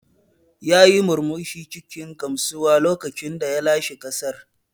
Yayi murmushi cikin gamsuwa lokacin da ya lashe gasar.